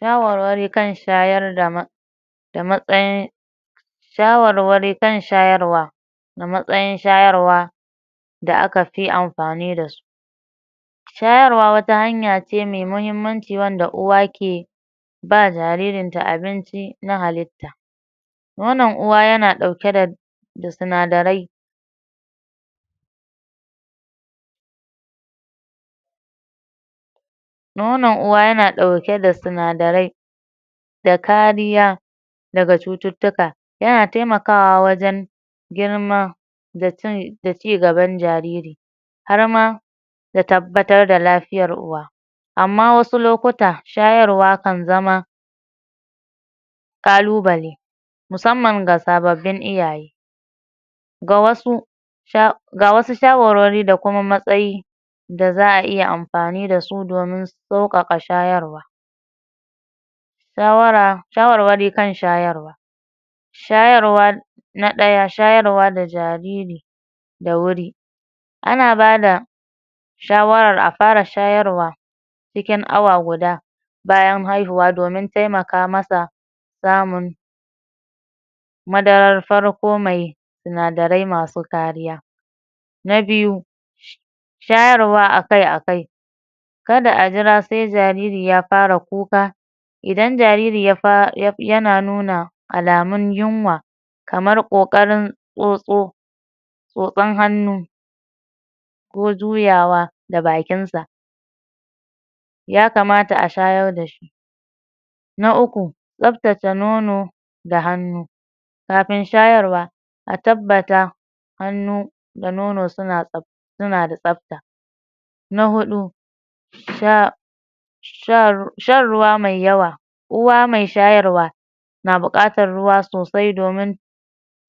Shawarwari kan shayar da da matsayin shawarwari kan shayarwa da matsayin shayarwa da aka fi amfani dasu shayarwa wata hanya ce mai muhimmanci wanda uwa ke ba jaririn ta abinci na halitta nonon uwa yana ɗauke da sinadarai nonon uwa yana ɗauke da sinadarai da kariya daga cututtuka yana taimakawa wajen girma da ci da cigaban jariri harma da tabbatar da lafiyan uwa amma wasu lokuta shayarwa kan zama ƙalubale musamman ga sababbin iyaye ga wasu sha ga wasu shawarwari da kuma matsayi da za'a iya amfani dasu domin sauƙaƙa shayarwa shawara shawarwari kan shayarwa shayarwa na ɗaya; shayarwa da jariri da wuri ana bada shawarar a fara shayarwa cikin awa guda bayan haihuwa domin taimaka masa samun madarar farko mai sinadarai masu kariya na biyu; shayarwa akai-akai kada a jira sai jariri ya fara kuka idan jariri ya fa yana nuna alamun yunwa kamar ƙoƙarin tsotso tsotsan hannu ko juyawa da bakin sa ya kamata a shayar dashi na uku; tsaftace nono da hannu kafin shayarwa a tabbata hannu da nono suna tsaf suna da tsafta na huɗu; sha shar shan ruwa mai yawa uwa mai shayarwa na buƙatan ruwa sosai domin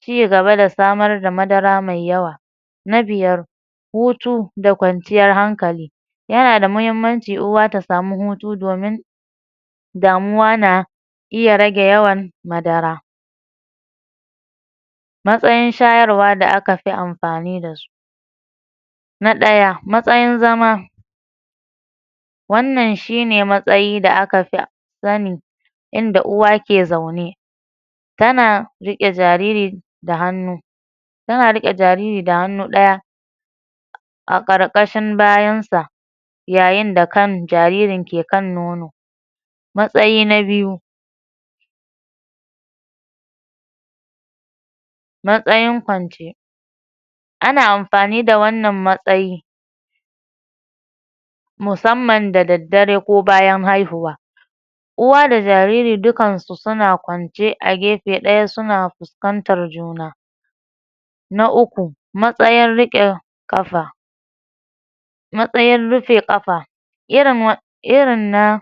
cigaba da samar da madara mai yawa na biyar; hutu da kwanciyar hankali yana da muhimmanci uwa ta samu hutu domin damuwa na iya rage yawan madara matsayin shayarwa da aka fi amfani dasu na ɗaya; matsayin zama wannan shi ne matsayi da aka fi sanni inda uwa ke zaune tana riƙe jariri da hannu suna riƙe jariri da hannu ɗaya a ƙarƙashin bayan sa yayin da kan jaririn ke kan nono matsayi na biyu; matsayin kwance ana amfani da wannan matsayi musamman da daddare ko bayan haihuwa uwa da jariri dukan su suna kwance a gefe ɗaya suna fus kantar juna na uku; matsayin riƙe ƙafa matsayin rufe ƙafa irin wa irin na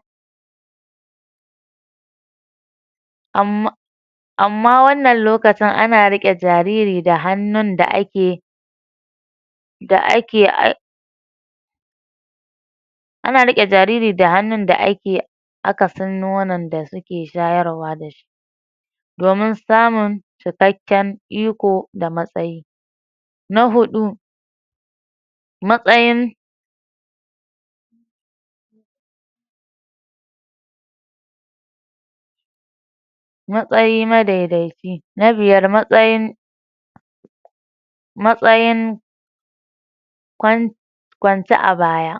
am amma wannan lokacin ana riƙe jariri da hannun da ake da ake ai ana riƙe jariri da hannun da ake akasin nonon da suke shayarwa da domin samun cikakken iko da matsayi na huɗu; matsayin matsayi madaidaici na biyar; matsayin matsayin kwan kwance a baya.